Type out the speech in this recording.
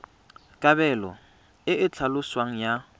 kabelo e e tlhaloswang ya